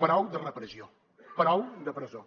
prou de repressió prou de presó